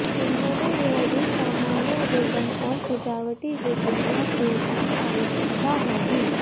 उन्होंने यह भी सामान्य रिबन और सजावटी रिबन या टेप की आवश्यकता होगी